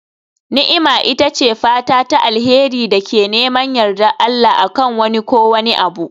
Ni'ima ita ce fata ta alheri da ke neman yardar Allah, a kan wani ko wani abu.